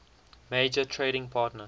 major trading partner